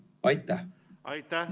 Aitäh!